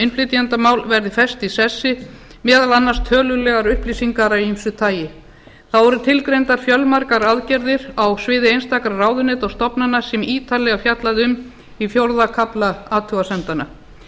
innflytjendamál verði fest í sessi meðal annars tölulegar upplýsingar af ýmsu tagi þá eru tilgreindar fjölmargar aðgerðir á sviði einstakra ráðuneyta og stofnana sem ítarlega er fjallað um í fjórða kafla athugasemdanna